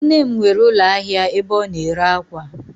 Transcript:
Nne m nwere ulo ahia ebe o na ere akwa